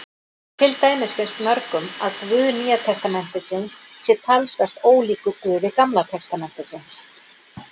Til dæmis finnst mörgum að Guð Nýja testamentisins sé talsvert ólíkur Guði Gamla testamentisins.